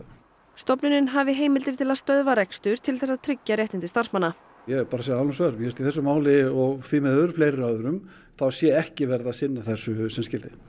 stofnunin hafi heimildir til að stöðva rekstur til þess að tryggja réttindi starfsmanna ég verð bara að segja alveg eins og er mér finnst í þessu máli og því miður fleiri öðrum þá sé ekki verið að sinna þessu sem skyldi